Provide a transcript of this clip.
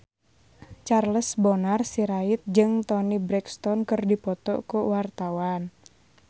Charles Bonar Sirait jeung Toni Brexton keur dipoto ku wartawan